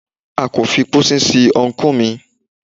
A kò fi pósí sin ọ́nkù mi.